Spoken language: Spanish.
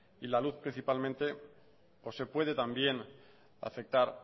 y la luz principalmente o se puede también afectar